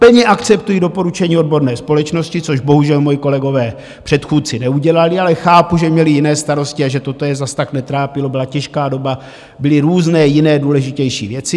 Plně akceptuji doporučení odborné společnosti, což bohužel moji kolegové předchůdci neudělali, ale chápu, že měli jiné starosti a že toto je zas tak netrápilo, byla těžká doba, byly různé jiné důležitější věci.